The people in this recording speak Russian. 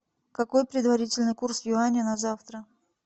какой предварительный курс юаня на завтра